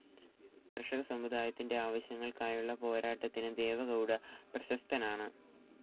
കർഷക സമുദായത്തിൻ്റെ ആവശ്യങ്ങൾക്കായുള്ള പോരാട്ടത്തിന് ദേവഗൗഡ പ്രശസ്തനാണ്.